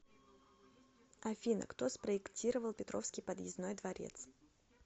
афина кто спроектировал петровский подъездной дворец